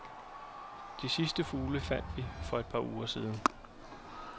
De sidste fugle fandt vi for et par uger siden.